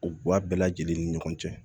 U ba bɛɛ lajɛlen ni ɲɔgɔn cɛ